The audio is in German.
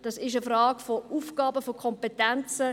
Das ist eine Frage von Aufgaben und von Kompetenzen.